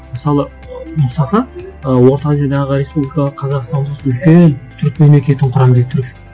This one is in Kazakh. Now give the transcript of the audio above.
мысалы ы мұстафа ы орта азиядағы республика қазақстанның ортасында үлкен түрік мемлекетін құрамын